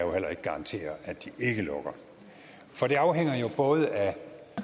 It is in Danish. heller ikke garantere at de ikke lukker for det afhænger både af